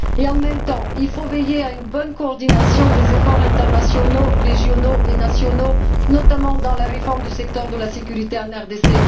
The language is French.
En même temps, il faut veiller à une bonne coordination des efforts internationaux, régionaux et nationaux, notamment dans la réforme du secteur de la sécurité en RDC.